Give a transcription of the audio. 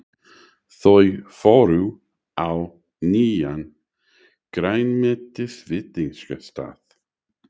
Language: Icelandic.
Þau fóru á nýjan grænmetisveitingastað.